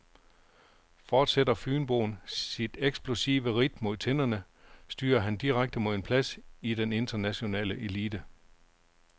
Fortsætter fynboen sit eksplosive ridt mod tinderne, styrer han direkte mod en plads i den internationale elite.